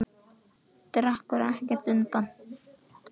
Dregur ekkert undan.